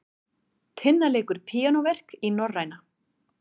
Tinna leikur píanóverk í Norræna